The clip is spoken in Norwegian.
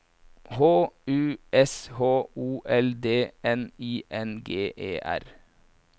H U S H O L D N I N G E R